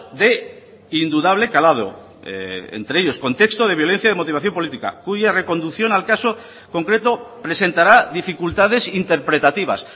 de indudable calado entre ellos contexto de violencia de motivación política cuya reconducción al caso concreto presentará dificultades interpretativas